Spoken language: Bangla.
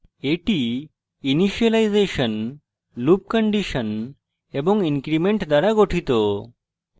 এটি ইনিসিয়েলাইজেসন loop condition এবং increment দ্বারা গঠিত